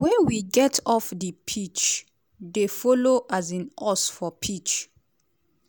wey we get off di pitch dey follow um us for pitch."